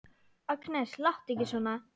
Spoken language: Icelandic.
Agnes, láttu ekki svona!